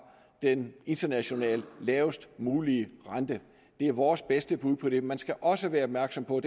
den internationalt lavest mulige rente det er vores bedste bud på det man skal også være opmærksom på